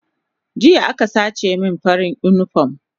Jiya aka sace min farin unipom